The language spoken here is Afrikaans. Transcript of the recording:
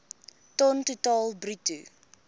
ton totaal bruto